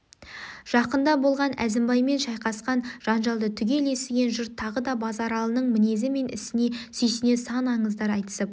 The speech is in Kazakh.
жақында болған әзімбаймен шайқасқан жанжалды түгел естіген жұрт тағы да базаралының мінезі мен ісіне сүйсіне сан аңыздар айтысып